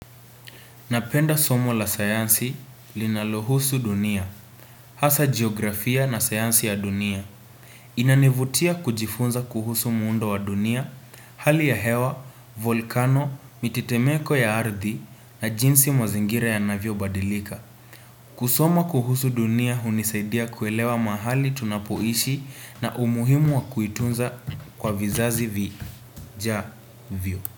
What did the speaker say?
Napenda somo la sayansi linalohusu dunia, hasa jiografia na sayansi ya dunia. Inanivutia kujifunza kuhusu muundo wa dunia, hali ya hewa, volkano, mitetemeko ya ardhi na jinsi mazingira yanavyobadilika. Kusoma kuhusu dunia hunisaidia kuelewa mahali tunapoishi na umuhimu wa kuitunza kwa vizazi vijavyo.